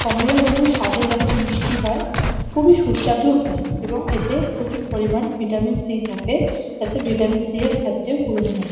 কমলালেবু স্বাদে যেমন মিষ্টি হয় খুবই সুস্বাদুও হয় এবং এতে প্রচুর পরিমাণ ভিটামিন সি থাকে । যাতে ভিটামিন সি -এর ঘাটতিও পুরন হয়।